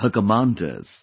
her commanders